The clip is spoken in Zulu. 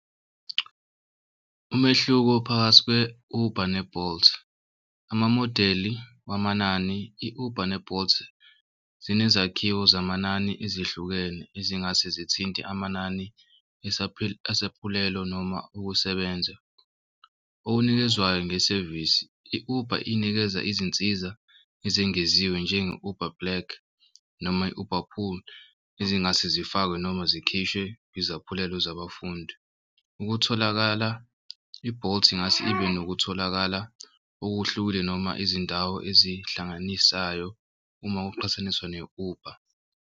Umehluko phakathi kwe-Uber ne-Bolt amamodeli wamanani i-Uber ne-Bolt zinezakhiwo zamanani ezihlukene ezingase zithinte amanani esaphulelo noma ukusebenza. Okunikezwayo ngesevisi, i-Uber inikeza izinsiza ezengeziwe njenge-Uber black noma i-Uber Pool ezingase zifakwe noma zikhishwe izaphulelo zabafundi. Ukutholakala i-Bolt ingase ibe nokutholakala okuhlukile noma izindawo ezihlanganisayo uma uqhathaniswa ne-Uber.